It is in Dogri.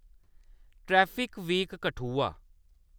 traffic week Kathua